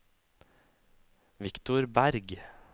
Viktor Bergh